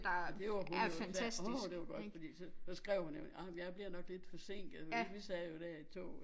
Og det var hun jo og sagde åh det var godt fordi så så skrev hun jo ej men jeg bliver nok lidt forsinket men vi sad jo der i toget